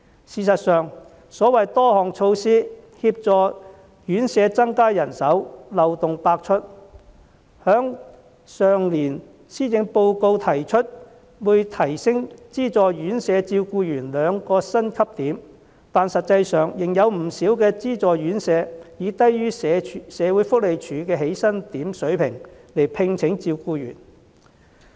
事實上，所謂多項協助院舍增加人手，漏洞百出；例如去年的施政報告提出會提升資助院舍照顧員兩個薪級點，但實際上，仍然有不少資助院舍以低於社會福利署的起薪點水平來聘請照顧員。